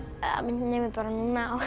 minnir mig bara núna á